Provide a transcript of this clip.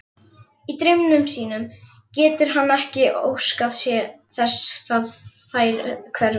Í draumi sínum getur hann ekki óskað þess þær hverfi.